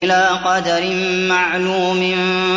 إِلَىٰ قَدَرٍ مَّعْلُومٍ